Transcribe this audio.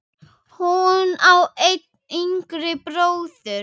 Hún á einn yngri bróður.